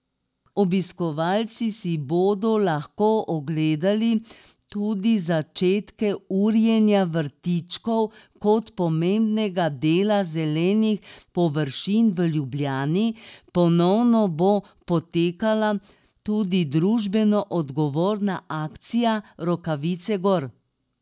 Obiskovalci si bodo lahko ogledali tudi začetke urejanja vrtičkov kot pomembnega dela zelenih površin v Ljubljani, ponovno bo potekala tudi družbeno odgovorna akcija Rokavice gor!